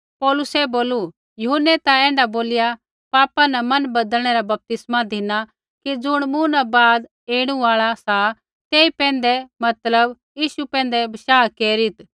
पौलुसै बोलू यूहन्नै ता ऐण्ढा बोलिया पापा न मन बदलनै रा बपतिस्मा धिना कि ज़ुण मूँ न बाद ऐणु आल़ा सा तेई पैंधै मतलब यीशु पैंधै बशाह केरीत्